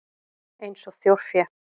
Eins og þjórfé?